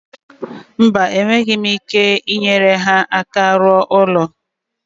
Mba, enweghị m ike inyere ha aka rụọ ụlọ.